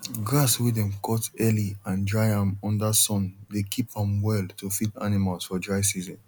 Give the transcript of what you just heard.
grass wey dem cut early and dry am under sun dey keep am well to feed animals for dry season